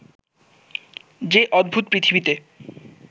যে অদ্ভুত পৃথিবীতে